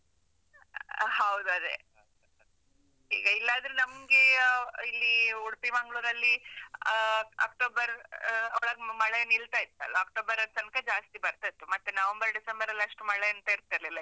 ಹೌದು ಅದೇ, ಈಗ ಇಲ್ಲಾದ್ರೂ ನಮ್ಗೇ ಇಲ್ಲೀ ಉಡ್ಪಿ ಮಂಗ್ಳೂರಲ್ಲಿ ಆ, October ಆ, ಒಳಗ್ ಮಳೆ ನಿಲ್ತಾ ಇತ್ತಲ್ಲ? October ದ್ ತನ್ಕ ಜಾಸ್ತಿ ಬರ್ತಾ ಇತ್ತು, ಮತ್ತೆ , November, December ರಲ್ಲಿ ಅಷ್ಟು ಮಳೆ ಎಂತ ಇರ್ತಿಲ್ಲಿಲ್ಲ.